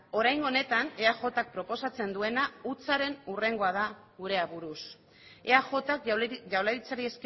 oraingo honetan eajk proposatzen duena hutsaren hurrengoa da gure aburuz eajk jaurlaritzari